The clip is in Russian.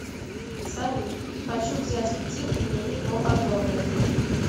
салют хочу взять кредит мне его одобрят